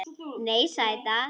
Nei, sæta.